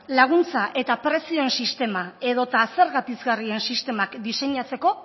laguntza eta prezioen sistema edota zerga pizgarrien sistemak diseinatzeko